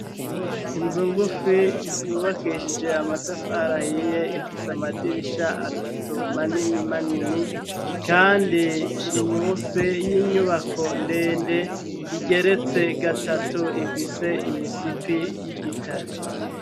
Inzu ngufi yubakishije amatafarahiye ifise amadirisha atatu manini-manini kandi iri musi y'inyubako ndende igeretse gatatu ifise imisipi y'igitare.